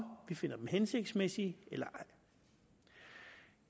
vi finder dem hensigtsmæssige eller ej